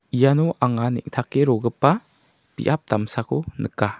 iano anga neng·take rogipa biap damsako nika.